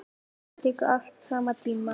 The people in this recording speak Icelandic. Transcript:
Þetta tekur allt saman tíma.